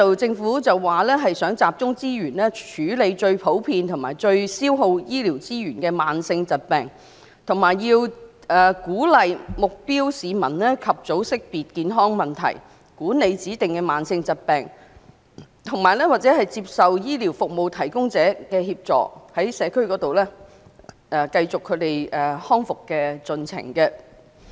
政府的說法是要集中資源，來處理最普遍和最消耗醫療資源的慢性疾病、鼓勵目標市民及早識別健康問題、管理指定的慢性疾病，讓市民接受醫療服務提供者的協助，在社區繼續他們康復的進程。